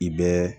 I bɛ